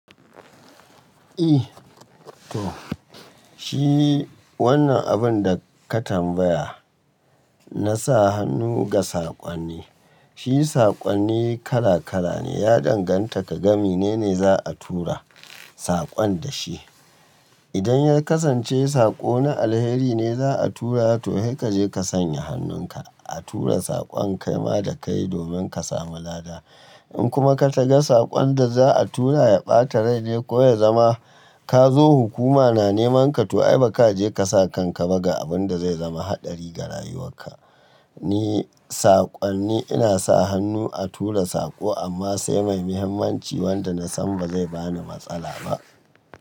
Eh to shi wannan abun da ka tambaya, na sa hannu ga sakon ne. Shi sakonni kala kala ne ya danganta ka ga mi nene za a tura sakon da shi. Idan ya kasance sako na alheri ne za a tura to he kaje ka sanya hannun ka a tura sakon kaima da kai domin ka samu lada. In kuma ka ta ga sakon da za a tura ya bata rai ne ko ya zama ka zo hukuma na neman ka to ai baka je kasa kan ka ba ga abun da zai zama hadari ga rayuwar ka. Ni sakonni ina sa hannu a tura sako amma sai mai muhimmanci wanda nasan ba zai bani matsala ba.